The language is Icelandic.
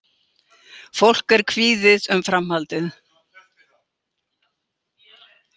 Fólk er kvíðið um framhaldið